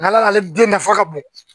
N'a ale den nafa ka bon